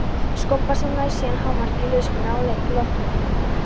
Skopfærslan nær síðan hámarki í liðskönnun að leik loknum.